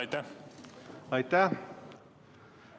Aitäh!